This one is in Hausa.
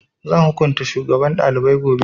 Zan hukunta shugaban ɗalibai gobe